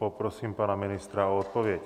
Poprosím pana ministra o odpověď.